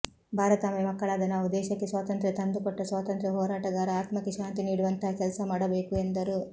ಭಾರತಾಂಬೆ ಮಕ್ಕಳಾದ ನಾವು ದೇಶಕ್ಕೆ ಸ್ವಾಂತಂತ್ರ ತಂದು ಕೊಟ್ಟ ಸ್ವಾಂತಂತ್ರ ಹೋರಾಟಗಾರ ಆತ್ಮಕ್ಕೆ ಶಾಂತಿ ನೀಡುವಂತಹ ಕೆಲ್ಸ ಮಾಡಬೇಕು ಎಂದರು